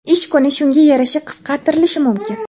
ish kuni shunga yarasha qisqartirilishi mumkin.